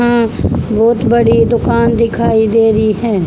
अं बहुत बड़ी दुकान दिखाई दे रही है।